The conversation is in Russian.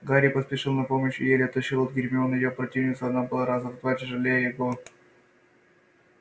гарри поспешил на помощь и еле оттащил от гермионы её противницу она была раза в два тяжелее его